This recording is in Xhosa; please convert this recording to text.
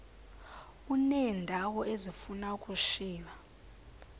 uneendawo ezifuna ukushiywa